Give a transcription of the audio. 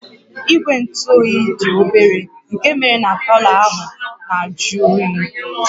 Igwe ntụ oyi dị obere nke méré na palọ ahụ na-ajụ oyi